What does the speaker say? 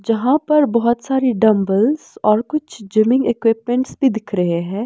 जहाँ पर बहुत सारी डंबल्स और कुछ जिमिंग इक्विपमेंट्स भी दिख रहे हैं।